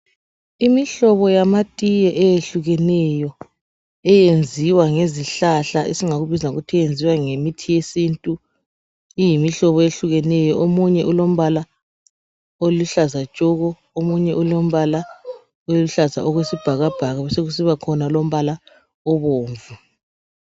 Imihlobo yamatiye eyehlukeneyo eyenziwa ngezihlahla esingakubiza ngokuthi yenziwa ngemithi yesintu, iyimihlobo etshiyeneyo. Eyinye ilombala oluhlaza tshoko, eyinye ulombala oluhlaza okwesibhakabhaka besekusibakhona elombala obomvu.